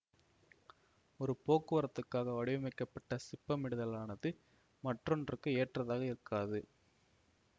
ஒரு போக்குவரத்துக்காக வடிவமைக்கப்பட்ட சிப்பமிடுதலானது மற்றொன்றுக்கு ஏற்றதாக இருக்காது